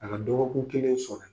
A ka do kelen sɔrɔ